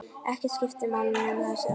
Ekkert skipti máli nema þessi ást.